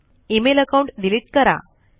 E mail account delete करा